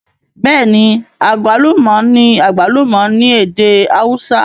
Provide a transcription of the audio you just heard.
Bêẹ̀ni, agwaluma ní àgbálùmọ̀ ní èdè awúsá